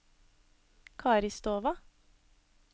Karistova